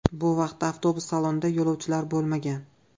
Bu vaqtda avtobus salonida yo‘lovchilar bo‘lmagan.